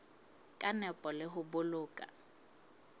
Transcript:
ka nepo le ho boloka